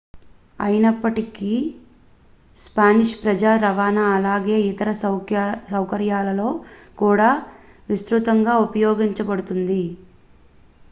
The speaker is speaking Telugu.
అయినప్పటికీ స్పానిష్ ప్రజా రవాణా అలాగే ఇతర సౌకర్యాలలో కూడా విస్తృతంగా ఉపయోగించబడుతుంది